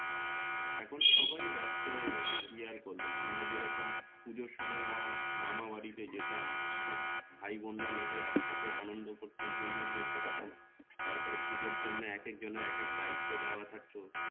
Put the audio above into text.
এখন সবাই ব্যস্ত হয়ে গেছে কি আর করবে আমরা যে রকম পূজোর সময় অয়া মামা বাড়ি তে যেতাম সব ভাই বোনরা মিলে এক সাথে আনন্দ করতাম হৈ হুল্লোড় করতাম তার পরে পূজোর জন্যে একক জনের একেক দায়িত্ব দেওয়া থাকত